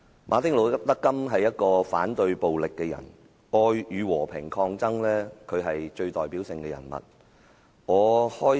馬丁.路德.金是一個反對暴力的人，談到愛與和平抗爭，他是最有代表性的人物。